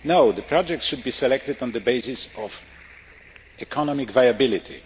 No, the project should be selected on the basis of economic viability.